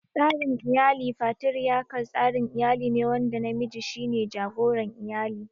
Tsarin iyalin Fatiriyakal, tsarin iyali ne wanda namiji shi ne jagoran iyali.